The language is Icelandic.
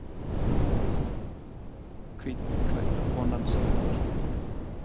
Hvítklædda konan slekkur á sjónvarpinu.